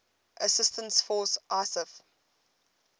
assistance force isaf